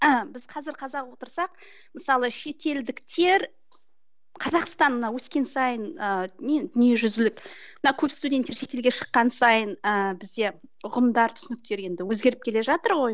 біз қазір қазақ отырсақ мысалы шетелдіктер қазақстан мына өскен сайын ыыы дүниежүзілік мына көп студенттер шетелге шыққан сайын ыыы бізде ұғымдар түсініктер енді өзгеріп келе жатыр ғой